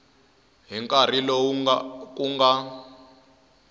hi nkarhi lowu ku nga